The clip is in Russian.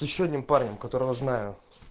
с ещё одним парнем которого знаю